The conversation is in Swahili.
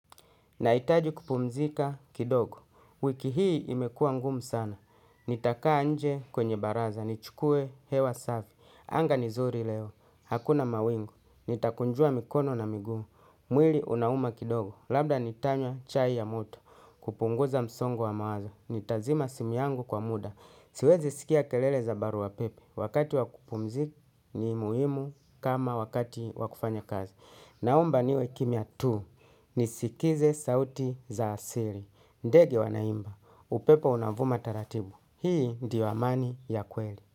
Nahitaji kupumzika kidogo, wiki hii imekuwa ngumu sana, nitakaa nje kwenye baraza, nichukuwe hewa safi, anga ni nzuri leo, hakuna mawingu, nitakunjua mikono na migumu, mwili unauma kidogo, labda nitanywa chai ya moto, kupunguza msongo wa mawazo, nitazima simu yangu kwa muda, siwezi sikia kelele za baruapepe, wakati wa kupumzika ni muhimu kama wakati wa kufanya kazi. Naomba niwe kimya tu nisikize sauti za asili. Ndege wanaimba, upepo unavuma taratibu. Hii ndio amani ya kweli.